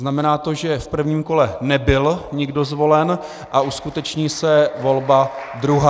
Znamená to, že v prvním kole nebyl nikdo zvolen a uskuteční se volba druhá.